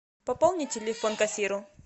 пополни телефон кассиру